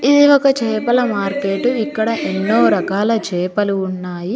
ఇది ఒక చేపల మార్కెట్ ఇక్కడ ఎన్నో రాకలా చేపలు ఉన్నాయి.